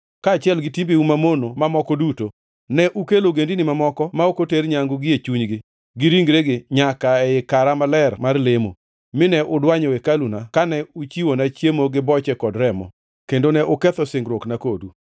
Kaachiel gi timbeu mamono mamoko duto, ne ukelo ogendini mamoko ma ok oter nyangu gie chunygi gi ringregi nyaka ei kara maler mar lemo, mine udwanyo hekaluna kane uchiwona chiemo gi boche kod remo, kendo ne uketho singruokna kodu.